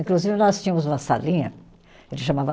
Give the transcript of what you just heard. Inclusive, nós tínhamos uma salinha. A gente chamava